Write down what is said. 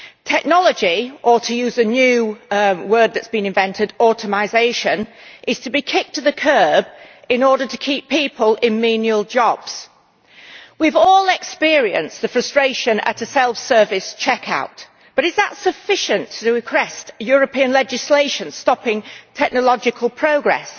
Technology or to use the new word that has been invented automisation' is to be kicked to the kerb in order to keep people in menial jobs. We have all experienced the frustration at a self service checkout, but is that sufficient to warrant European legislation stopping technological progress?